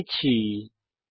বিদায় নিচ্ছি